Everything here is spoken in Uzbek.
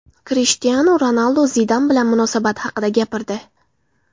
Krishtianu Ronaldu Zidan bilan munosabati haqida gapirdi.